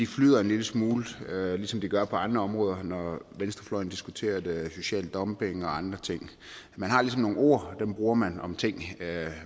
flyder en lille smule ligesom de gør på andre områder når venstrefløjen diskuterer social dumping og andre ting man har ligesom nogle ord og dem bruger man om ting